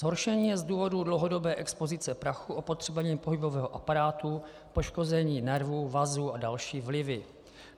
Zhoršení je z důvodu dlouhodobé expozice prachu, opotřebení pohybového aparátu, poškození nervů, vazů a další vlivy.